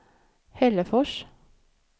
Hällefors